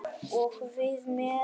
Og við með.